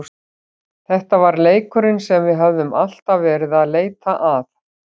Þetta var leikurinn sem við höfðum alltaf verið að leita að.